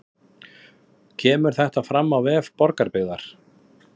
Kemur þetta fram á vef Borgarbyggðar